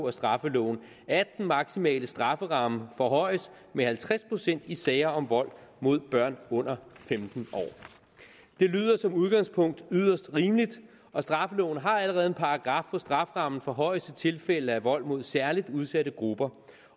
af straffeloven at den maksimale strafferamme forhøjes med halvtreds procent i sager om vold mod børn under femten år det lyder som udgangspunkt yderst rimeligt og straffeloven har allerede en paragraf hvor strafferammen forhøjes i tilfælde af vold mod særlig udsatte grupper